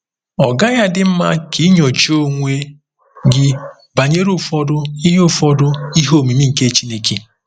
Ọ́ gaghị adị mma ka i nyochaa onwe gị banyere ụfọdụ “ihe ụfọdụ “ihe omimi nke Chineke”?